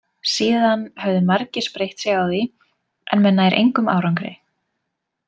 Síðan höfðu margir spreytt sig á því en með nær engum árangri.